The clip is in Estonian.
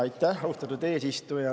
Aitäh, austatud eesistuja!